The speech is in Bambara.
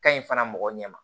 Ka ɲi fana mɔgɔ ɲɛ ma